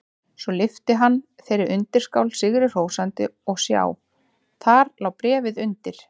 Svo lyfti hann þeirri undirskál sigri hrósandi og sjá: Þar lá bréfið undir!